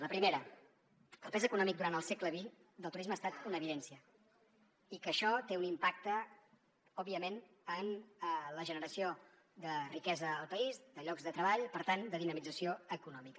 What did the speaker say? la primera que el pes econòmic durant el segle xx del turisme ha estat una evidència i que això té un impacte òbviament en la generació de riquesa al país de llocs de treball per tant de dinamització econòmica